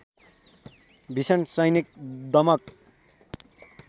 भीषण सैनिक दमन